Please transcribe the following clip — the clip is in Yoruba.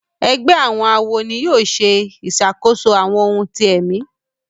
Ègbé àwọn àwo ní yóò ṣe ìṣàkóso àwọn òun tí èmi